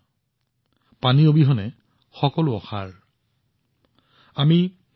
আৰু পানী সঞ্চয়ৰ এই কামত মই শিশুসকলৰ পৰা যথেষ্ট আশা কৰিছো